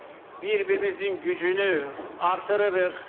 bir-birimizin gücünü artırırıq.